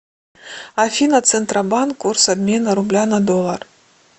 афина центробанк курс обмена рубля на доллар